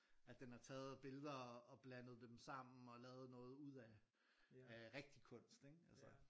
At den har taget billeder og blandet dem sammen og lavet noget ud af af rigtig kunst ikke altså